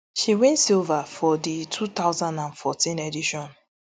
she win silver for di two thousand and fourteen edition